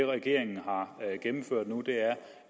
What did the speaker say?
regeringen har gennemført nu er